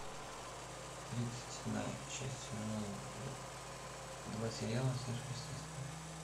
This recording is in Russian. тридцать седьмая часть сезона два сериала сверхъестественное